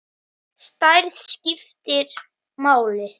Stærð skiptir máli.